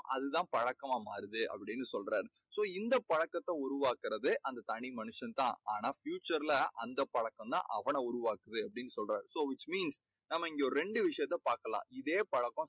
அது தான் பழக்கமா மாறுது அப்படீன்னு சொல்றார். so இந்தப் பழக்கத்தை உருவாக்கறதே அந்த தனி மனுஷன் தான். ஆனா future ல அந்தப் பழக்கம் தான் அவனை உருவாக்குது அப்படீன்னு சொல்றார். so which mean நம்ம இங்கே ஒரு ரெண்டு விஷயத்தை பார்க்கலாம். இதே பழக்கம்